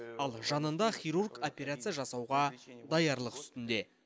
ал жанында хирург операция жасауға даярлық үстінде